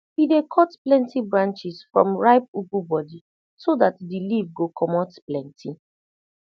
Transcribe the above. we dey cut plenti branches from ripe ugu body so dat de leaf go comot plenti